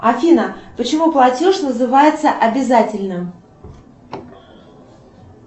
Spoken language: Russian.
афина почему платеж называется обязательным